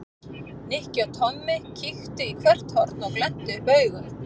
Nikki og Tommi kíktu í hvert horn og glenntu upp augun.